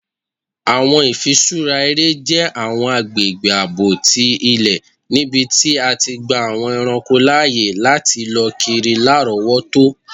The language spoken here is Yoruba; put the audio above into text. Awọn ifiṣura ere jẹ awọn agbegbe aabo ti ilẹ nibiti a ti gba awọn ẹranko laaye lati lọ kiri larọwọto.